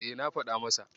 E, na faɗa masa.